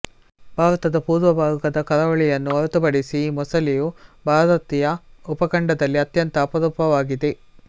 ಭಾರತದ ಪೂರ್ವಭಾಗದ ಕರಾವಳಿಯನ್ನು ಹೊರತುಪಡಿಸಿ ಈ ಮೊಸಳೆಯು ಭಾರತೀಯ ಉಪಖಂಡದಲ್ಲಿ ಅತ್ಯಂತ ಅಪರೂಪವಾಗಿದೆ